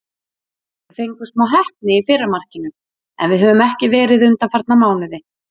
Við fengum smá heppni í fyrra markinu, sem við höfum ekki verið undanfarna mánuði.